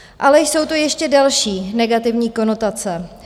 Ale jsou tu ještě delší negativní konotace.